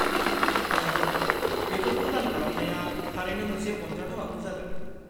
नंगौ, बेफोरखौ दान खालामनाया थारैनो मोनसे अनजाथाव आखु जागोन।